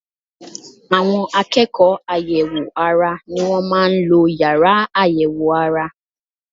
Àwọn akẹ́kọ̀ọ́ àyẹ̀wò ara ni wọ́n máa ń lo yàrá àyẹ̀wò ara